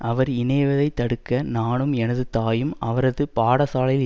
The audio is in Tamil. அவர் இணைவதை தடுக்க நானும் எனது தாயும் அவரது பாடசாலையில்